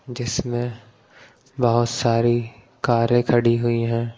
जिसमें बहुत सारी कारें खड़ी हुई हैं।